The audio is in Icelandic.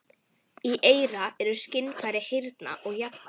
Í eyra eru skynfæri heyrnar og jafnvægis.